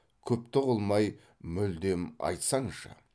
күпті қылмай мүлдем айтсаңшы